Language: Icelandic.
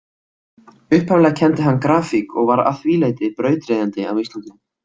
Upphaflega kenndi hann grafík og var að því leyti brautryðjandi á Íslandi.